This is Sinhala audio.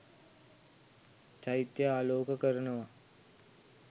චෛත්‍යය ආලෝක කරනව.